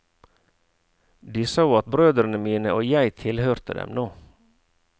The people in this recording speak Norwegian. De sa at brødrene mine og jeg tilhørte dem nå.